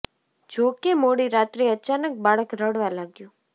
જો કે મોડી રાત્રે અચાનક બાળક રડવા લાગ્યું